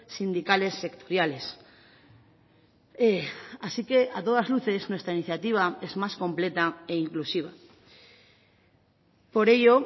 sindicales sectoriales así que a todas luces nuestra iniciativa es más completa e inclusiva por ello